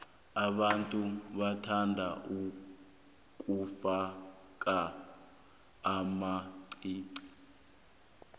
abantu bathanda ukufaka amaqiqi